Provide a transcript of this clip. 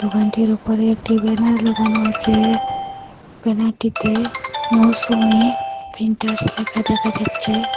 দোকানটির উপরে একটি ব্যানার লাগানো আছে ব্যানার -টিতে মৌসুমী প্রিন্টার্স লেখা দেখা যাচ্ছে।